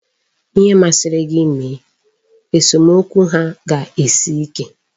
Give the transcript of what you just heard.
Ihe masịrị gị mee, esomokwu ha ga-esi ike.